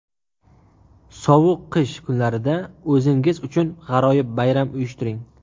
Sovuq qish kunlarida o‘zingiz uchun g‘aroyib bayram uyushtiring!